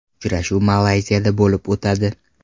Uchrashuv Malayziyada bo‘lib o‘tadi.